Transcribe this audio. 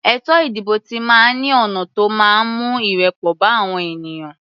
Ètò ìdìbò ti máa ń ní ọ̀nà tó máa ń mú ìrẹ́pọ̀ bá àwọn ènìyàn.